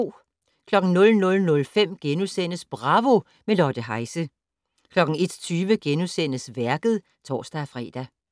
00:05: Bravo - med Lotte Heise * 01:20: Værket *(tor-fre)